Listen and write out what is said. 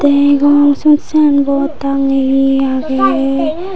degong siyod signboard tangiye aage